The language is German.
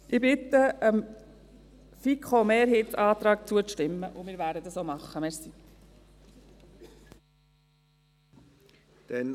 Ich bitte darum, dem FiKo-Mehrheitsantrag zuzustimmen, und wir werden das auch tun.